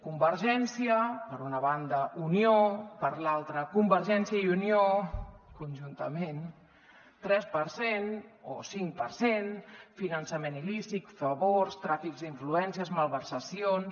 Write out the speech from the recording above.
convergència per una banda unió per l’altra convergència i unió conjuntament tres per cent o cinc per cent finançament il·lícit favors tràfic d’influències malversacions